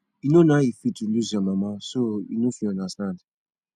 you no know how e feel to lose your mama so you no fit understand